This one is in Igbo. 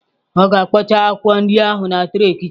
Ọ ga-akpọcha akwụkwọ ndị ahụ na tray kichin.